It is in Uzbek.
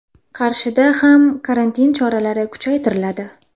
Qarshida ham karantin choralari kuchaytiriladi.